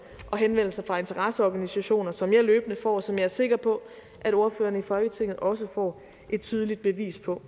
og henvendelser fra interesseorganisationer som jeg løbende får og som jeg er sikker på at ordførerne i folketinget også får et tydeligt bevis på